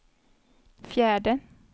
fjärde